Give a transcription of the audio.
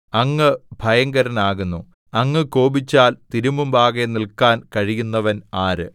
അങ്ങ് ഭയങ്കരനാകുന്നു അങ്ങ് കോപിച്ചാൽ തിരുമുമ്പാകെ നില്‍ക്കാൻ കഴിയുന്നവൻ ആര്